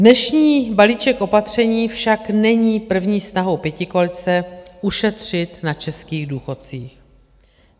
Dnešní balíček opatření však není první snahou pětikoalice ušetřit na českých důchodcích.